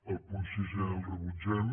el punt sisè el rebutgem